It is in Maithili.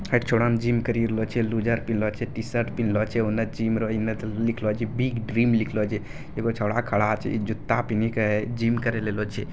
एकटा छोड़ा ने जिम करी रहला छै लूजर पिनहले छै टी-शर्ट पिनहले छै उने जिम रहा इने ते लिखला छै बिग ड्रीम लिखला छै एगो छोरा छै इ जूता पिहिन के जिम करीले आइलो छै।